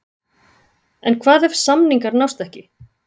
En hvað ef samningar nást ekki?